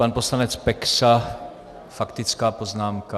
Pan poslanec Peksa, faktická poznámka.